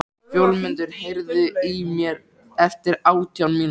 Fjólmundur, heyrðu í mér eftir átján mínútur.